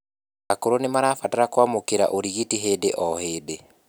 akũrũ nimarabatara kuamukira urigiti hĩndĩ o hĩndĩ